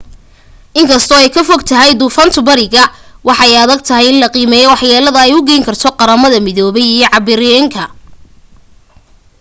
inkasto ay ka fogtahay duufantu bariga waa ay adagtahay in la qiimeyo wax yeelada ay u geysan karto qramada midoobey iyo caribbean-ka